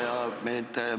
Hea ettekandja!